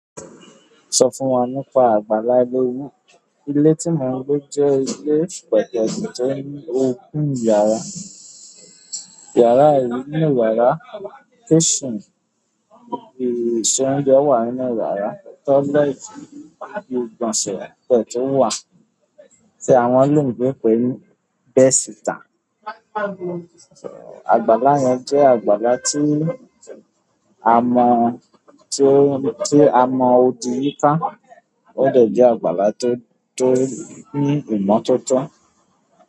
Sọ fún wa nípa àgbàlá ilé-owó. Ilé tí mò ń gbé jẹ́ ilé pẹ̀tẹ̀tẹ̀ tó ní òpin yàrá, yàrá yìí ní wàrà, kitchen, ibi ìṣe oúnjẹ wà nínú wàrà, toilet bí i ìgbọ̀nsẹ̀ tẹ̀ tó wà tí àwọn oloyinbo ń pè ní bedsítter. Àgbàlá yẹn jẹ́ àgbàlá tí a mọ, tí a mọ odì yíká, ó de jẹ àgbàlá tó, tó ní ìmọ́tótó.